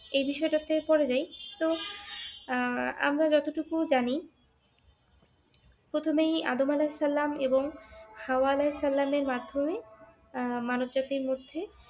এই বিষয়টাতে পরে যাই তো আহ আমরা যতটুকু জানি প্রথমেই আদম আলাহিসাল্লাম এবং হাওয়া আলাহিসাল্লামের মাধ্যমে আহ মানব জাতীর মধ্যে